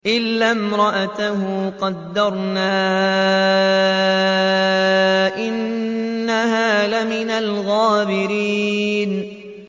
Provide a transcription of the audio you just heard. إِلَّا امْرَأَتَهُ قَدَّرْنَا ۙ إِنَّهَا لَمِنَ الْغَابِرِينَ